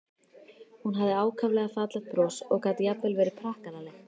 Hún hafði ákaflega fallegt bros og gat jafnvel verið prakkaraleg.